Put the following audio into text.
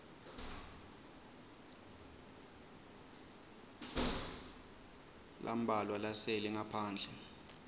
lambalwa lasele ngaphandle